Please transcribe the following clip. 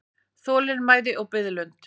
Þolinmæði og biðlund.